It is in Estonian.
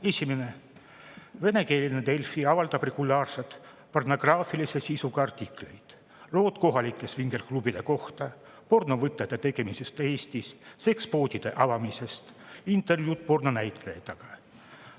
Esimene: "Venekeelne Delfi avaldab regulaarselt pornograafilise sisuga artikleid: lood kohalike swinger-klubide kohta, pornovõtete tegemisest Eestis, sekspoodide avamisest, intervjuud pornonäitlejatega.